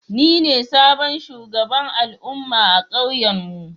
Ni ne sabon shugaban al'umma a kauyen mu.